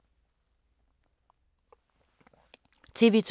TV 2